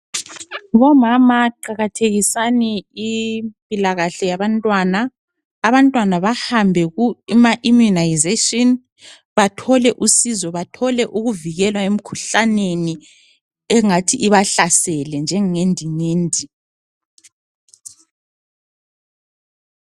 Bomama qakathekisani impilakahle yabantwana. Abantwana bahambe kuma immunisation bathole usizo. Bathole ukuvikelwa emkhuhlaneni engathi ibahlasele njenge ndingindi.